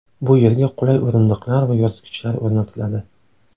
Bu yerga qulay o‘rindiqlar va yoritgichlar o‘rnatiladi.